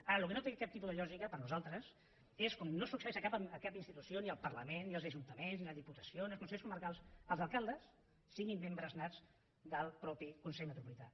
ara el que no té cap tipus de lògica per nosaltres és com no succeeix a cap institució ni al parlament ni als ajuntaments ni a les diputacions ni als consells comarcals que els alcaldes siguin membres nats del mateix consell metropolità